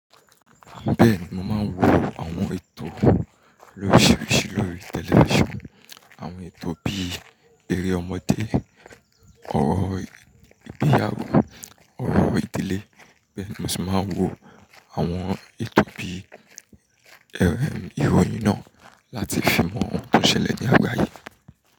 Bẹ́ẹ̀ni, mo máa ń wo àwọn ètò loríṣiríṣi lórí tẹlifísàn. Àwọn ètò bí eré ọmọdé, ọrọ̀ ìgbéyàwó, ọrọ̀ ìdílé, bẹ́ẹ̀ ni mo sì máa ń wo àwọn ètò bíii ìròyìn náà láti fi mọ ohun tó n ṣẹlẹ̀ ní àgbáyé.